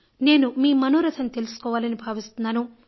నేను మీ మనోరథం తెలుసుకోవాలని భావిస్తున్నాను